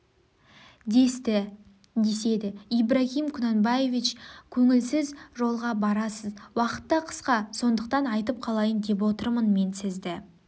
десті деседі ибрагим кунанбаевич көңілсіз жолға барасыз уақытта қысқа сондықтан айтып қалайын деп отырмын мен сізді